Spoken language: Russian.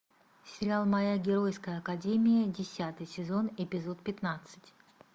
сериал моя геройская академия десятый сезон эпизод пятнадцать